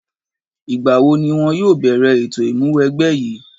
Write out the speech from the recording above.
Ìgbà wo ni wọ́n yóò bẹ̀rẹ̀ ètò ìmúwẹgbẹ́ yìí?